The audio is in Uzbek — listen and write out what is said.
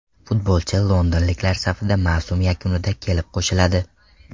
Futbolchi londonliklar safida mavsum yakunida kelib qo‘shiladi.